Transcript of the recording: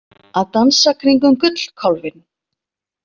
Að dansa kringum gullkálfinn